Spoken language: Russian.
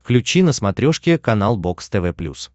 включи на смотрешке канал бокс тв плюс